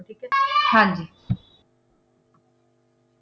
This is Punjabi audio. ਹਾਂ ਜੀ